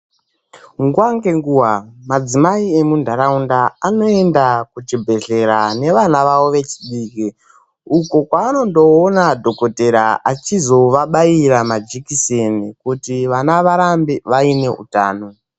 Nguva ngenguva ,madzimai emundaraunda anoenda kuchibhedhlera nevana vavo vechidiki. uko kwavanondoona dhokodheya achizo vabaira majekiseni kuti vana varambe vaine utano.